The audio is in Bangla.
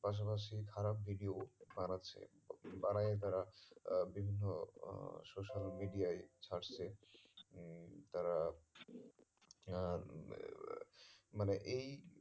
পাশা পাশি খারাপ video ও বানাচ্ছে বানাইয়ে তারা আহ বিভিন্ন আহ social media এ ছাড়ছে উম তারা মানে এই